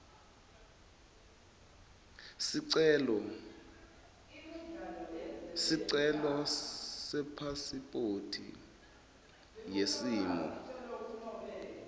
sicelo sepasiphothi yesimo